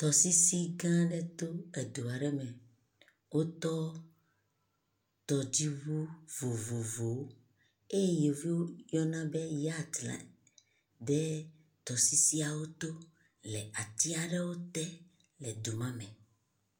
Tɔsisi gã aɖe to edua aɖe me. Wotɔ tɔdziŋu vovovowo eyi yevuwo yɔna be yɔtsi la ɖe tɔsisi aɖe to le atia ɖe te le du mame.